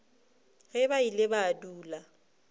ge ba ile ba dula